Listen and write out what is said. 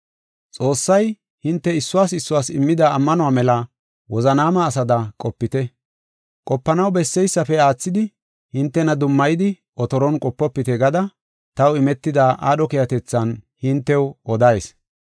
Xoossay hinte issuwas issuwas immida ammanuwa mela wozanaama asada qopite. Qopanaw besseysafe aathidi hintena dummayidi, otoron qopofite gada taw imetida aadho keehatethan hintew odayis.